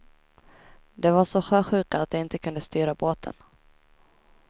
De var så sjösjuka att de inte kunde styra båten.